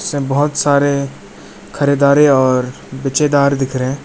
बहुत सारे खरीदारे और बेचेदार दिख रहे।